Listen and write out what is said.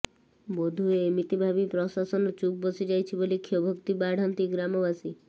ବୋଧହୁଏ ଏମିତି ଭାବି ପ୍ରଶାସନ ଚୁପ୍ବସି ଯାଇଛି ବୋଲି କ୍ଷୋଭୋକ୍ତି ବାଢ଼ନ୍ତି ଗ୍ରାମବାସୀ